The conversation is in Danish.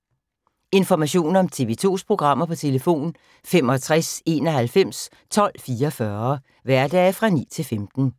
Information om TV 2's programmer: 65 91 12 44, hverdage 9-15.